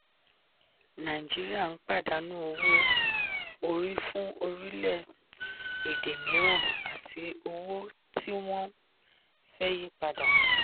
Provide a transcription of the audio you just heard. nàìjíríà ń pàdánù owó-orí fún orílẹ̀-èdè mìíràn àti owó tí wọ́n fẹ́ yí padà.